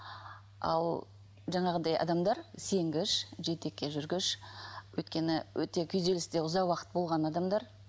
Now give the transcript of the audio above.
ал жаңағындай адамдар сенгіш жетекке жүргіш өйткені өте күйзелісте ұзақ уақыт болған адамдар